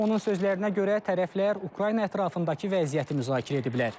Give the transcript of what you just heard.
Onun sözlərinə görə tərəflər Ukrayna ətrafındakı vəziyyəti müzakirə ediblər.